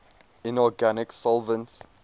inorganic solvents